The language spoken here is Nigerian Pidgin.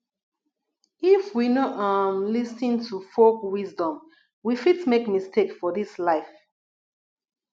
if we no um lis ten to folk wisdom we fit make mistake for dis life